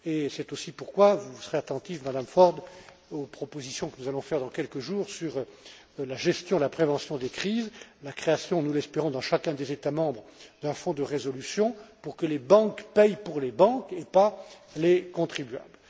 C'est aussi pourquoi vous serez attentive, Madame Ford, aux propositions que nous allons faire dans quelques jours sur la gestion et la prévention des crises, la création, nous l'espérons, dans chacun des États membres d'un fonds de résolution pour que les banques paient pour les banques et pas les contribuables.